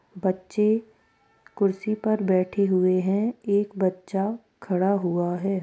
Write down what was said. बच्चे कुर्सी पे बेठे हुवे है एक बच्चा खड़ा हुवा है।